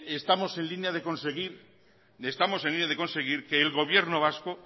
estamos en línea de conseguir que el gobierno vasco